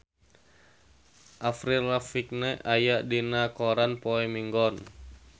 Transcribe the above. Avril Lavigne aya dina koran poe Minggon